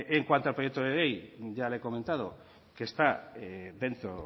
en cuanto al proyecto de ley ya le he comentado que está dentro